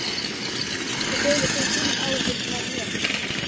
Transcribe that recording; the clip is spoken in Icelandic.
Ekki deilir þú þínum áhyggjum með mér.